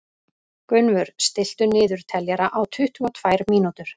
Gunnvör, stilltu niðurteljara á tuttugu og tvær mínútur.